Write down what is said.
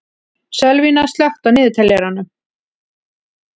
Sölvína, slökktu á niðurteljaranum.